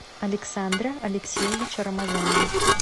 александра алексеевича рамазанова